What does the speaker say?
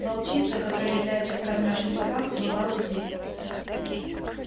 волчица которая является к кормёжке собак бывалый зверь